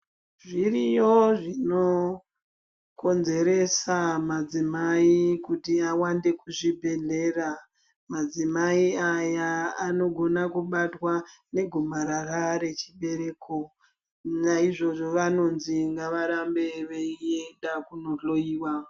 Zviriyo zvinokonzeresa madzimai kuti awande kuzvibhedhlera madzimai aya anogona kubatwa negomarara rechibereko naizvozvo vanonzi ngavarambe veienda kunohloiwa.